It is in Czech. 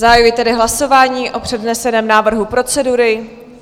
Zahajuji tedy hlasování o předneseném návrhu procedury.